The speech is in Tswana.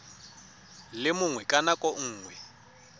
le mongwe ka nako nngwe